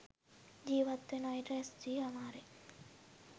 ජීිවත් වන අයට රැස්වී හමාරය.